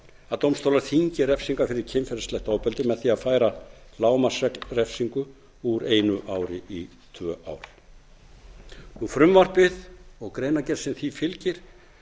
að dómstólar þyngi refsingar fyrir kynferðislegt ofbeldi með því að færa lágmarksrefsingu úr einu ári í tvö ár frumvarpið og greinargerð sem því fylgir